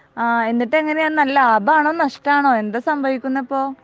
ആഹ് എന്നിട്ട് എങ്ങിനെ ലാഭാണോ നഷ്ടം ആണോ എന്താ സംഭവിക്കുന്നെ ഇപ്പൊ